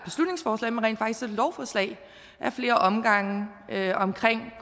lovforslag ad flere omgange om